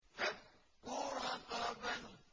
فَكُّ رَقَبَةٍ